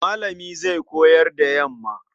Malami zai koyar da yamma.